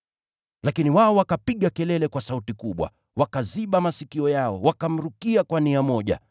Lakini wao wakapiga kelele kwa sauti kubwa, wakaziba masikio yao, wakamrukia kwa nia moja.